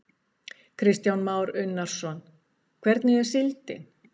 Kristján Már Unnarsson: Hvernig er síldin?